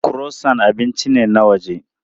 Croissant abinci ne na waje.